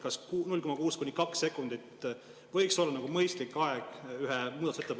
Kas 0,6–2 sekundit võiks olla mõistlik aeg ühe muudatusettepaneku ...